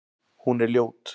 Hún er ljót.